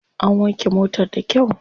An wanke motar da kyau.